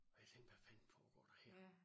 Og jeg tænkte hvad fanden foregår der her